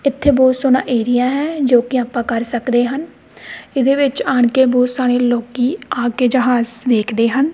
ਇਥੇ ਬਹੁਤ ਸੋਹਣਾ ਏਰੀਆ ਹੈ ਜੋ ਕਿ ਆਪਾਂ ਕਰ ਸਕਦੇ ਹਨ ਇਹਦੇ ਵਿੱਚ ਆਣ ਕੇ ਬਹੁਤ ਸਾਰੇ ਲੋਕੀ ਆ ਕੇ ਜਹਾਜ਼ ਵੇਖਦੇ ਹਨ।